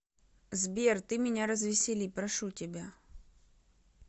сбер ты меня развесели прошу тебя